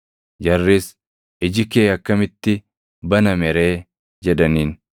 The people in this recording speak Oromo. Jarris, “Iji kee akkamitti baname ree?” jedhaniin.